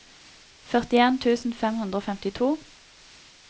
førtien tusen fem hundre og femtito